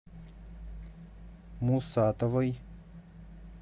мусатовой